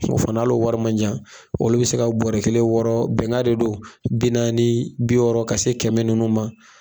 fana hal'o wari ma ca, olu bi se ka bɔrɔ kelen wɔɔrɔ, bɛnka de don, bi naani, bi wɔɔrɔ, ka se kɛmɛ nunnu ma.